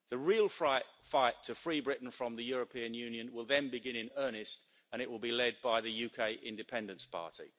The real fight to free Britain from the European Union will then begin in earnest, and it will be led by the UK Independence Party.